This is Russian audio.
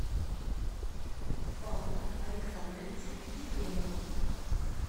павла александровича ефремова